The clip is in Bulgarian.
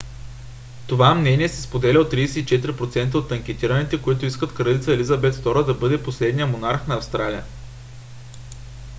това мнение се споделя от 34% от анкетираните които искат кралица елизабет ii да бъде последния монарх на австралия